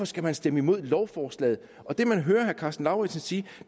skal stemme imod lovforslaget og det man hører herre karsten lauritzen sige